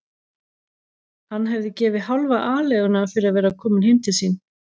Hann hefði gefið hálfa aleiguna fyrir að vera kominn heim til sín.